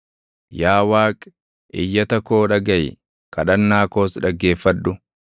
Yaa Waaqi, iyyata koo dhagaʼi; kadhannaa koos dhaggeeffadhu.